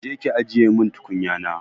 Je ki ajiye min tukunyana!